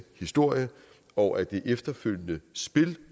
historie og at det efterfølgende spil